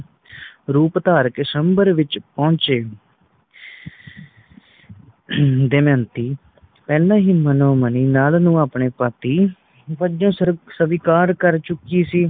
ਰੂਪ ਧਾਰ ਕੇ ਸ੍ਵਯੰਬਰ ਵਿਚ ਪਹੁੰਚੇ ਹਮ ਦਮਯੰਤੀ ਪਹਿਲਾ ਹੀ ਮਨੋ ਮਨੀ ਨੱਲ ਨੂੰ ਆਪਣੇ ਪਤੀ ਵਜੋਂ ਸਵ ਸਵੀਕਾਰ ਕਰ ਚੁਕੀ ਸੀ